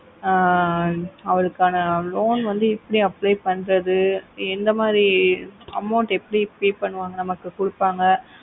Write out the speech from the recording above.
ஆஹ் அவளுக்கான loan வந்து எப்படி apply பண்ணுறது எந்த மாரி amount எப்படி pay பண்ணுவாங்க நமக்கு குடுப்பாங்கa